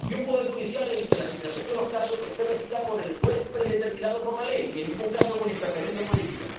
y un poder judicial en el que la asignación de los casos esté regida por el juez predeterminado por ley, en ningún caso con interferencia política